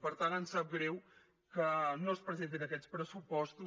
per tant ens sap greu que no es presentin aquests pressupostos